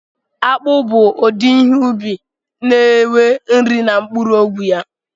Akpụ bụ udi ihe ubi na enwe nri na mgbọrọgwụ ya